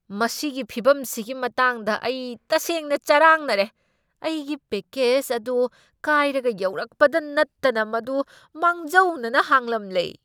ꯃꯁꯤꯒꯤ ꯐꯤꯚꯝꯁꯤꯒꯤ ꯃꯇꯥꯡꯗ ꯑꯩ ꯇꯁꯦꯡꯅ ꯆꯔꯥꯡꯅꯔꯦ꯫ ꯑꯩꯒꯤ ꯄꯦꯛꯀꯦꯖ ꯑꯗꯨ ꯀꯥꯢꯔꯒ ꯌꯧꯔꯛꯄꯗ ꯅꯠꯇꯅ ꯃꯗꯨ ꯃꯥꯡꯖꯧꯅꯅ ꯍꯥꯡꯂꯝꯂꯦ꯫